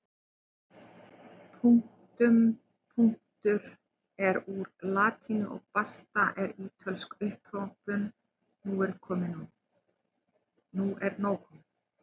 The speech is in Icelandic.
Punktum punktur er úr latínu og basta er ítölsk upphrópun nú er nóg komið!